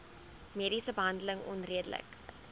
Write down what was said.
mediese behandeling onredelik